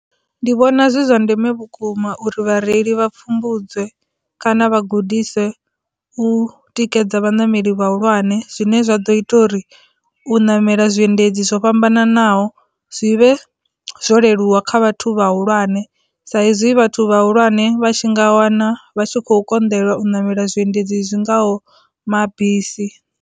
Ndi vhona zwi zwa ndeme vhukuma uri vhareili vha pfhumbudze kana vhagudise u tikedza vhaṋameli vhahulwane zwine zwa ḓo ita uri u namela zwiendedzi zwo vha fhambananaho zwi vhe zwo leluwa kha vhathu vhahulwane, sa izwi vhathu vhahulwane vha tshi nga wana vha tshi khou konḓelwa u namela zwiendedzi zwi ngaho mabisi.